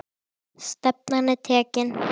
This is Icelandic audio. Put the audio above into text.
Mér fannst hún flott kona.